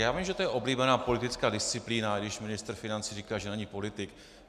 Já vím, že to je oblíbená politická disciplína, když ministr financí říká, že není politik.